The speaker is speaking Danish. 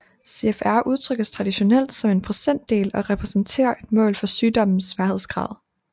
CFR udtrykkes traditionelt som en procentdel og repræsenterer et mål for sygdommens sværhedsgrad